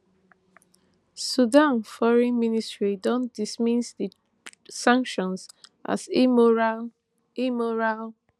sudan foreign ministry don dismiss di sanctions as immoral immoral